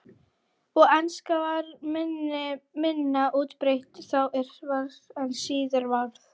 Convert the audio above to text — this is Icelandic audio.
Og enska var minna útbreidd þá en síðar varð.